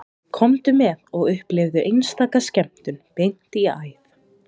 Komdu með og upplifðu einstaka skemmtun beint í æð